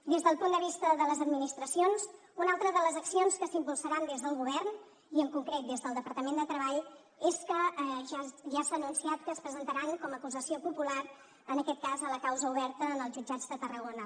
des del punt de vista de les administracions una altra de les accions que s’impulsaran des del govern i en concret des del departament de treball és que ja s’ha anunciat que es presentaran com a acusació popular en aquest cas a la causa oberta en els jutjats de tarragona